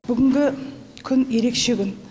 бүгінгі күн ерекше күн